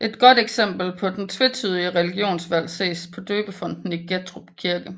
Et godt eksempel på det tvetydige religionsvalg ses på døbefonten i Gettrup Kirke